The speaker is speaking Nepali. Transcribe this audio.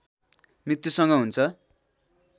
मृत्युसँग हुन्छ